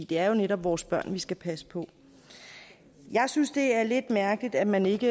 det er jo netop vores børn vi skal passe på jeg synes det er lidt mærkeligt at man ikke